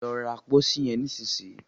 Lọ ra pósí yen nísìsiyìí!